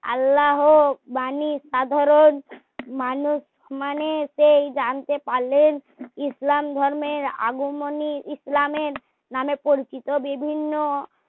আল্লাহ হো বাণী সাধারণ মানুষ মানে সেই জানতে পারলেন ইসলাম ধর্মের আগমনী ইসলামের নাম এ পরিচিত বিভিন্ন